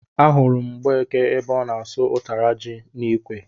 Ahụrụ m Mgbeke ebe ọ na-asụ ụtara ji n'ikwe